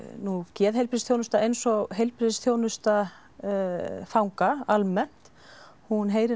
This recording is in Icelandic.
geðheilbrigðisþjónusta eins og heilbrigðisþjónusta fanga almennt hún heyrir